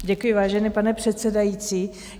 Děkuji, vážený pane předsedající.